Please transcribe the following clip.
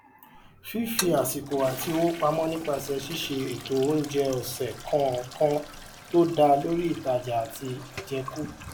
fífi àsìkò àti owó pamọ nípasẹ ṣiṣe ètò oúnjẹ ọsẹ kọọkan tó dá lórí ìtajà àti àjẹkù